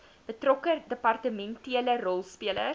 betrokke departementele rolspelers